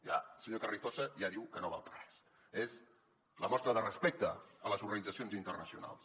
ja el senyor carrizosa ja diu que no val per a res és la mostra de respecte a les organitzacions internacionals